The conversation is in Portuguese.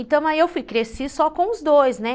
Então, aí eu cresci só com os dois, né?